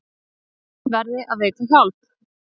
Þeim verði að veita hjálp.